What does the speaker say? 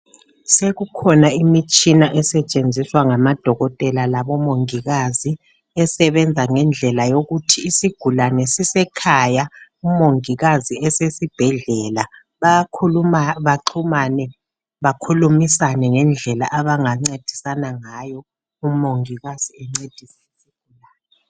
Sekukhona imitshina esetshenziswa ngamadokotela labomongikazi isebenza ngendlela yokuthi isigulane sisekhaya umongikazi esesibhedlela bayakhuluma, baxhumane, bakhulumisane ngendlela abangancedisana ngayo, umongikazi ancediswe.